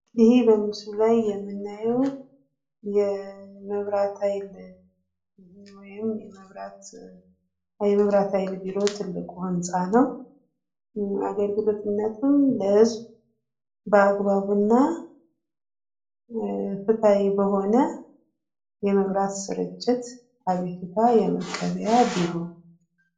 ይሄ በምስሉ ላይ የምናየው የመብራት ሀይል ቢሮ ትልቁ ህንፃ ነው። አገልግሎትነቱም ለህዝብ በአግባቡና ፍትሀዊ በሆነ የመብራት ስርጭት አቤቱታ የመቀበያ ቢሮ ነው።